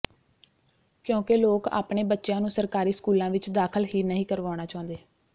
ਕਿਉਂਕਿ ਲੋਕ ਆਪਣੇ ਬੱਚਿਆਂ ਨੂੰ ਸਰਕਾਰੀ ਸਕੂਲਾਂ ਵਿੱਚ ਦਾਖਲ ਹੀ ਨਹੀਂ ਕਰਵਾਉਣਾ ਚਾਹੁੰਦੇ